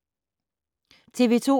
TV 2